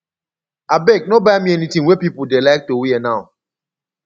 abeg no buy me anything wey people dey like to wear now